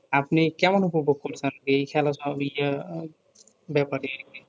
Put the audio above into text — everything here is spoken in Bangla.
আপনি কেমন উপভোগ করছেন এই খেলা সব ইয়া ব্যাপারে